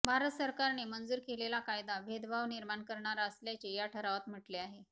भारत सरकारने मंजूर केलेला कायदा भेदभाव निर्माण करणारा असल्याचे या ठरावात म्हटले आहे